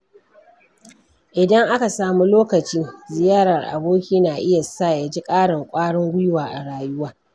Idan aka samu lokaci, ziyarar aboki na iya sa ya ji ƙarin kwarin gwiwa a rayuwa.